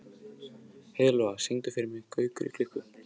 Heiðlóa, syngdu fyrir mig „Gaukur í klukku“.